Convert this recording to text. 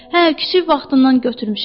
Hə, kiçik vaxtından götürmüşəm.